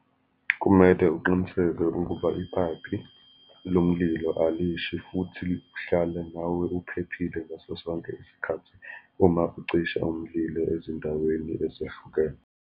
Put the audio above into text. Kumele uqiniseke ukuba iphayiphi lomlilo alishi, futhi uhlale nawe uphephile ngaso sonke isikhathi, uma ucisha umlilo ezindaweni ezahlukene.